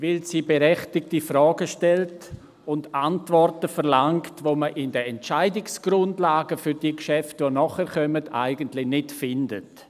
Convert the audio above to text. Weil sie berechtigte Fragen stellt und Antworten verlangt, die man in den Entscheidungsgrundlagen für die Geschäfte, die nachher kommen, eigentlich nicht findet.